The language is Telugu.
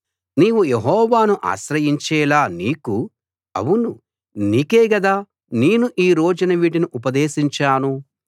నీవు యెహోవాను ఆశ్రయించేలా నీకు అవును నీకే గదా నేను ఈ రోజున వీటిని ఉపదేశించాను